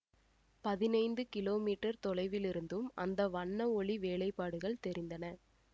பதினைந்து கிலோமீட்டர் தொலைவில் இருந்தும் அந்த வண்ண ஒளி வேலைபாடுகள் தெரிந்தன